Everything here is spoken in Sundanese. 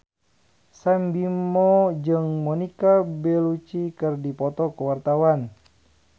Sam Bimbo jeung Monica Belluci keur dipoto ku wartawan